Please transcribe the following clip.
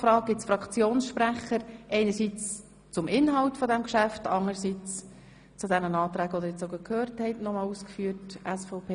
Wünschen Fraktionssprechende das Wort, einerseits zum Inhalt dieses Geschäfts, anderseits zu den eben begründeten Anträgen SVP Hofer?